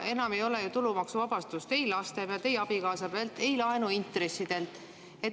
Enam ei ole ju tulumaksuvabastust ei laste, ei abikaasa pealt, ei laenuintressidelt.